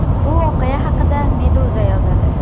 Bu voqea haqida Meduza yozadi .